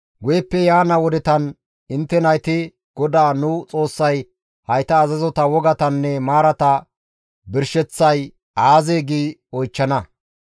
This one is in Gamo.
Guyeppe yaana wodetan intte nayti, «GODAA nu Xoossay hayta azazota, wogatanne maarata birsheththay aazee?» gi oychchana.